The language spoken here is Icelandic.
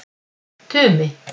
Tumi